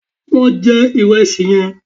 Lo je ìrẹsì yẹn